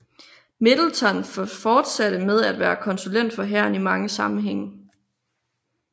Middleton fortsatte med at være konsulent for hæren i mange sammenhænge